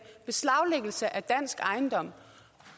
og beslaglæggelse af dansk ejendom